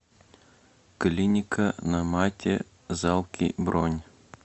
клиника на мате залки бронь